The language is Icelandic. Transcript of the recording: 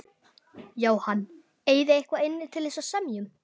Jóhann: Eigið þið eitthvað inni til þess að semja um?